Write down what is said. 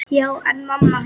Já, en mamma hans.